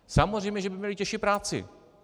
Samozřejmě že by měli těžší práci.